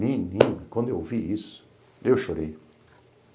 Menino, quando eu ouvi isso, eu chorei.